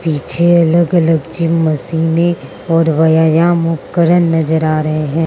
पीछे अलग अलग जिम मशीनें और व्यायाम उपकरण नजर आ रहे हैं।